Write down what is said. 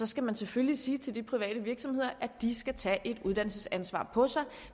skal man selvfølgelig sige til de private virksomheder at de skal tage et uddannelsesansvar på sig